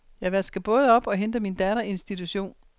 Jeg vasker både op og henter min datter i institution.